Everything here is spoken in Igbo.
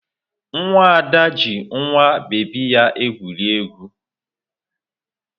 Nwa Ada ji nwa bebi ya egwuri egwu.